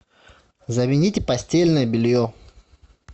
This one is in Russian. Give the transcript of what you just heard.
замените постельное белье